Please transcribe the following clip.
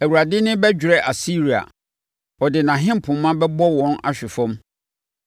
Awurade nne bɛdwerɛ Asiria; ɔde nʼahenpoma bɛbɔ wɔn ahwe fam.